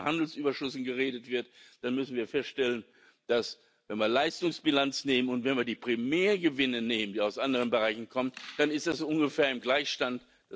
kommen. Wenn von den Handelsüberschüssen geredet wird, dann müssen wir feststellen Wenn wir die Leistungsbilanz nehmen und wenn wir die Primärgewinne nehmen, die aus anderen Bereichen kommen, dann ist das ungefähr im Gleichstand.